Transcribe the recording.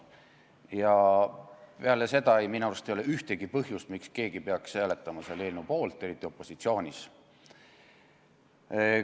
Ja peale seda minu arust ei ole ühtegi põhjust, miks keegi peaks hääletama selle eelnõu poolt, eriti opositsioonis olles.